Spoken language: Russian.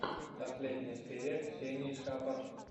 последняя серия ксении шапор